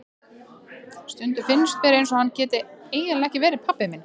Stundum finnst mér eins og hann geti eiginlega ekki verið pabbi minn.